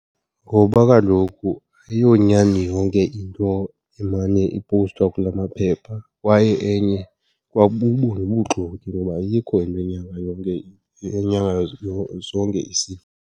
Ngoba kaloku ayiyonyani yonke into emane ipowustwa kula maphepha kwaye enye ikwabubo nobuxoki, ngoba ayikho into enyanga yonke , enyanga zonke isifo.